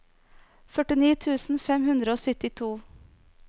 førtini tusen fem hundre og syttito